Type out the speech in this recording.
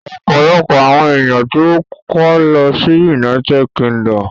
Ọ̀pọ̀lọpọ̀ àwọn èèyàn tó kó lọ sí United Kingdom